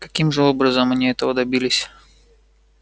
каким же образом они этого добились